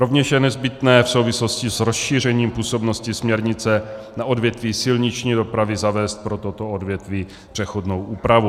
Rovněž je nezbytné v souvislosti s rozšířením působnosti směrnice na odvětví silniční dopravy zavést pro toto odvětví přechodnou úpravu.